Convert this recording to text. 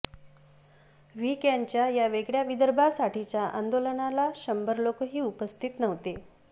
V कॅनच्या या वेगळ्या विदर्भासाठीच्या आंदोलनाला शंभर लोकही उपस्थित नव्हते